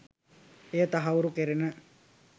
එය තහවුරු කෙරෙන